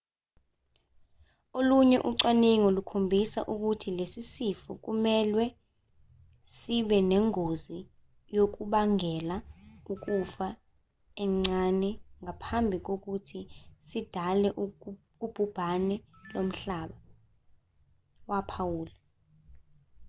olunye ucwaningo lukhombisa ukuthi lesi sifo kumelwe sibe nengozi yokubangela ukufa encane ngaphambi kokuthi sidale ubhubhane lomhlaba waphawula